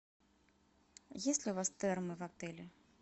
есть ли у вас термы в отеле